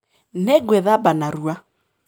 Nĩ ngwĩthamba narua.